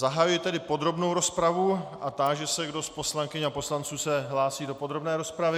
Zahajuji tedy podrobnou rozpravu a táži se, kdo z poslankyň a poslanců se hlásí do podrobné rozpravy.